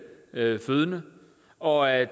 fødende og at